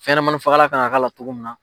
Fɛnɲamani fagalan kan k'a la cogo min na.